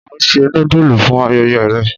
O n se nudulu fun ayẹyẹ rẹ